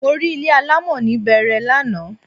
Mo rí ilé alámọ̀ ní Bẹẹrẹ lánàá